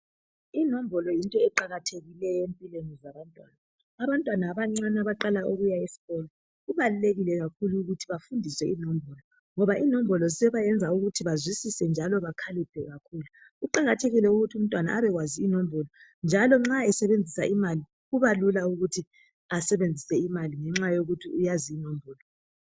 Inombolo yinto eqakathekileyo empilweni zabantwana. Abantwana abancane abaqala ukuya esikolo kubalulekile kakhulu ukuthi bafundiswe inombolo, ngoba inombolo zisebayenza ukuthi bazwisise njalo bakhaliphe kakhulu. Kuqakathekile ukuthi umntwana abekwazi inombolo. Njalo nxa esebenzisa imali, kubalula ukuthi asebenzise imali ngenxa yokuthi uyazi inombolo.